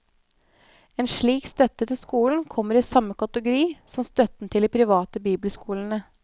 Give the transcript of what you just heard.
En slik støtte til skolen kommer i samme kategori som støtten til de private bibelskolene.